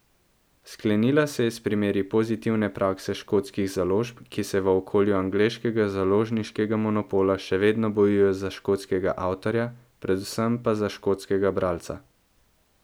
Sklenila se je s primeri pozitivne prakse škotskih založb, ki se v okolju angleškega založniškega monopola še vedno bojujejo za škotskega avtorja, predvsem pa za škotskega bralca.